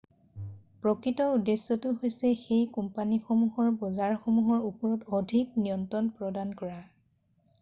প্ৰকৃত উদ্দেশ্যটো হৈছে সেই কোম্পানীসমূহৰ বজাৰসমূহৰ ওপৰত অধিক নিয়ন্ত্ৰণ প্ৰদান কৰা৷